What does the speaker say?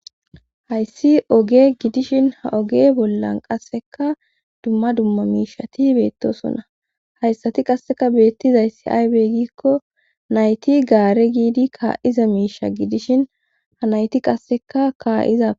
hayssi oge gidishin ha oge bollan qasseka dumma dumma miishati beettosonna hayssati qasseka beettizay si aybeegikko nayti gaare giidi kaa7iza miisha gidishin ha nayti qasseka kaa7iza